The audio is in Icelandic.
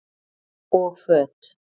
Og föt?